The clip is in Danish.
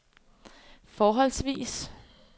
forholdsvis